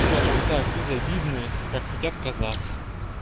скажем так безобидные как хотят казаться